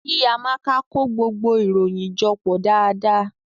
Ki Amaka ko gbogbo iroyin jọ pọ daadaa.